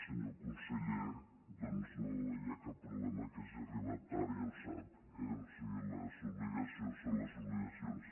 senyor conseller doncs no hi ha cap problema que hagi arribat tard ja ho sap eh o sigui les obligacions són les obli·gacions